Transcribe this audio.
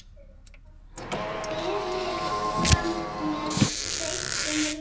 Berið fram með þeyttum rjóma.